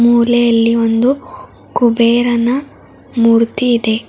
ಮೂಲೆಯಲ್ಲಿ ಒಂದು ಕುಬೇರನ ಮೂರ್ತಿ ಇದೆ.